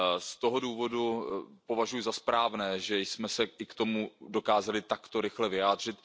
Z toho důvodu považuji za správné, že jsme se k tomu dokázali takto rychle vyjádřit.